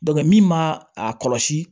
min ma a kɔlɔsi